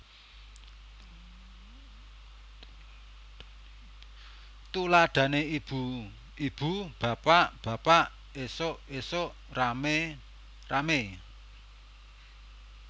Tuladhané ibu ibu bapak bapak ésuk ésuk ramé ramé